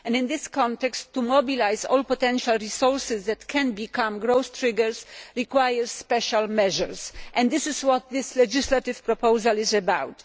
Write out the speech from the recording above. In this context, mobilising all the potential resources that can become growth triggers requires special measures, and this is what this legislative proposal is about.